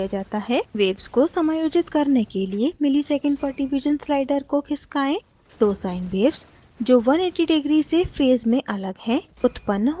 waves को समायोजित करने के लिए msec/div slider को खिसकाएँ दो sine waves जो 180 degree से फेज़ में अलग हैं उत्पन्न होती हैं